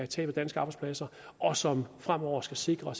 tab af danske arbejdspladser og som fremover skal sikre